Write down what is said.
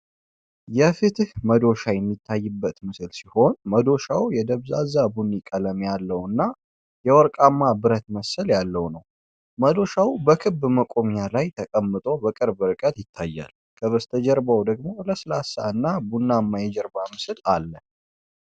የፍትህ መዶሻ የሚታይበት ምስል ሲሆን፣ መዶሻው የደብዛዛ ቡኒ ቀለም ያለውና የወርቅማ ብረት መሰል ያለው ነው። መዶሻው በክብ መቆሚያው ላይ ተቀምጦ በቅርብ ርቀት ይታያል፣ ከበስተጀርባው ደግሞ ለስላሳ እና ቡናማ የጀርባ ምስል አለ።